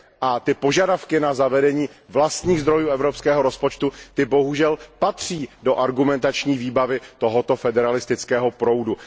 A požadavky na zavedení vlastních zdrojů evropského rozpočtu, ty bohužel patří do argumentační výbavy tohoto federalistického proudu.